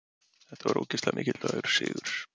Þetta var ógeðslega mikilvægur sigur.